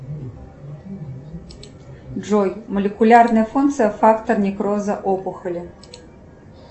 джой молекулярная функция фактор некроза опухоли